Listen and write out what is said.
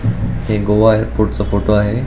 हे गोवा एअरपोर्टच फोटो आहे.